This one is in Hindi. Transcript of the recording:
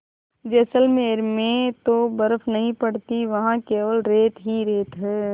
जैसलमेर में तो बर्फ़ नहीं पड़ती वहाँ केवल रेत ही रेत है